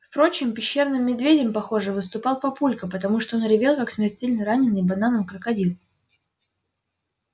впрочем пещерным медведем похоже выступал папулька потому что он ревел как смертельно раненый бананом крокодил